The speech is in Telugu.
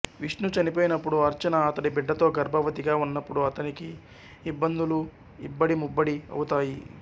విష్ణు చనిపోయినప్పుడు అర్చన అతడి బిడ్డతో గర్భవతిగా ఉన్నప్పుడు అతనికి ఇబ్బందులు ఇబ్బడి ముబ్బడి అవుతాయి